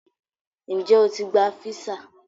Ǹjẹ́ ó ti gba físà?